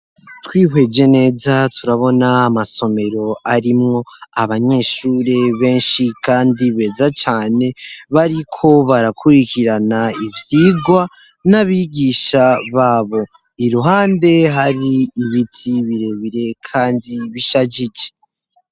Twihweje neza turabona amasomero arimwo abanyeshure benshi kandi beza cane bariko barakurikirana ivyigwa n'abigisha babo, iruhande hari ibiti birebire kandi bishajije.